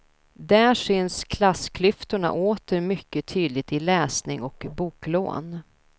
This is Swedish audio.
Där syns klassklyftorna åter mycket tydligt i läsning och boklån.